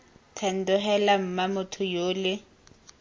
thando heela mma motho yole